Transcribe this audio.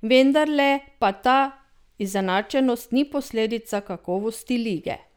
Vendarle pa ta izenačenost ni posledica kakovosti lige.